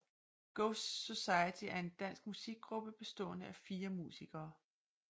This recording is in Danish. Ghost Society er en dansk musikgruppe bestående af fire musikere